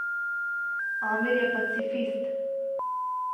Amir je pacifist.